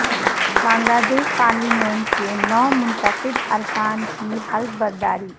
بنگلہ دیش پارلیمنٹ کے نومنتخب ارکان کی حلف برداری